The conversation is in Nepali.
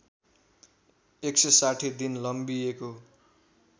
१६० दिन लम्बिएको